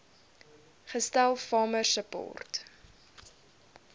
gestel farmer support